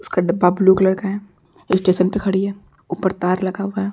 उसका डब्बा blue colour का है। स्टेशन पर खड़ी है। ऊपर तार लगा हुआ है।